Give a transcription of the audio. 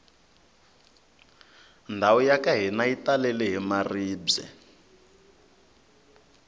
ndhawu yaka hina yi talele hi maribye